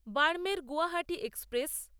Barmer Guwahati express